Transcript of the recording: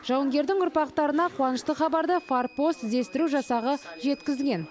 жауынгердің ұрпақтарына қуанышты хабарды форпост іздестіру жасағы жеткізген